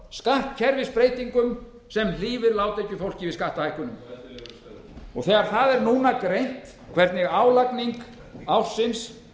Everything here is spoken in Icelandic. skattkerfisbreytingum sem hlífa lágtekjufólki við skattahækkunum en ellilífeyrisþegum þegar núna er greint hvernig álagning ársins